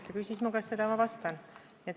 Ta küsis mu käest seda ja ma vastasin.